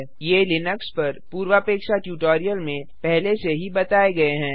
ये लिनक्स पर पूर्वापेक्षा ट्यूटोरियल में पहले से ही बताए गए हैं